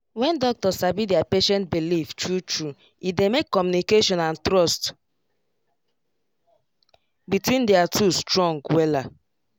when doctor sabi their patient belief true true e dey make communication and trust between their two strong wella